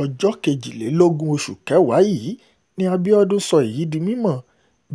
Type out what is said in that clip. ọjọ́ kejìlélógún oṣù kẹwàá yìí ní abiodun sọ èyí di mímọ̀